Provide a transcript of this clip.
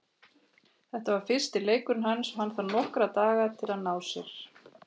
Þetta var fyrsti leikurinn hans og hann þarf nokkra daga til að ná sér.